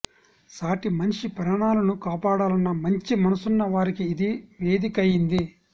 సాటి మనిషి ప్రాణాలను కాపాడాలన్న మంచి మనసున్న వారికి ఇది వేదికైంది